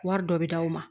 Wari dɔ bi d'aw ma